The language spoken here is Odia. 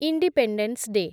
independence day